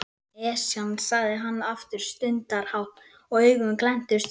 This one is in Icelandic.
Esjan sagði hann aftur stundarhátt og augun glenntust upp.